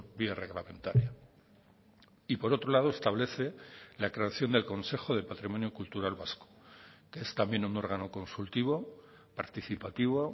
vía reglamentaria y por otro lado establece la creación del consejo de patrimonio cultural vasco que es también un órgano consultivo participativo